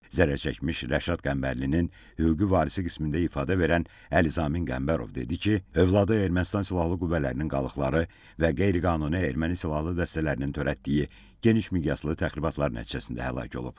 Zərərçəkmiş Rəşad Qəmbərlinin hüquqi varisi qismində ifadə verən Əli Zamin Qəmbərov dedi ki, övladı Ermənistan silahlı qüvvələrinin qalıqları və qeyri-qanuni erməni silahlı dəstələrinin törətdiyi genişmiqyaslı təxribatlar nəticəsində həlak olub.